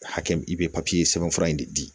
Hakɛ min i bɛ sɛbɛn fura in de di